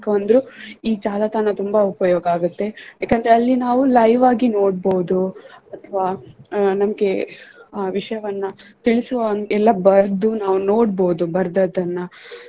ಅಂದ್ರು ಈ ಜಾಲತಾಣ ತುಂಬಾ ಉಪಯೋಗ ಆಗುತ್ತೆ ಯಾಕಂದ್ರೆ ಅಲ್ಲಿ ನಾವು live ಆಗಿ ನೋಡ್ಬೊದು ಅಥವಾ ಅಹ್ ನಮ್ಗೆ ವಿಷಯವನ್ನ ತಿಳಿಸುವ ಇಲ್ಲ ಬರ್ದು ನಾವು ನೋಡ್ಬೊದು ಬರ್ದದನ್ನ.